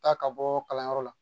Taa ka bɔ kalanyɔrɔ la